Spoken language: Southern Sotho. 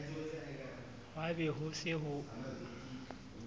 hwa be ho se ho